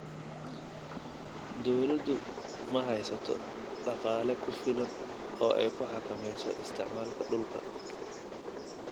Dawladdu ma haysato dhaqaale ku filan oo ay ku xakamayso isticmaalka dhulka.